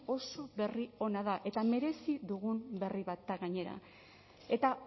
oso berri ona da eta merezi dugun berri bat da gainera eta